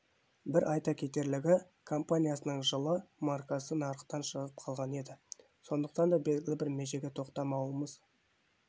бір айта кетерлігі компаниясының жылы маркасы нарықтан шығып қалған еді сондықтан да белгілі бір межеге тоқтамауымыз